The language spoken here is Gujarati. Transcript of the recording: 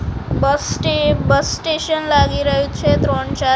બસ સ્ટે બસ સ્ટેશન લાગી રહ્યું છે ત્રણ ચાર--